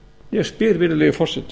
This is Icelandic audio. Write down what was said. ég spyr virðulegi forseti